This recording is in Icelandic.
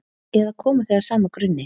Eða koma þau af sama grunni?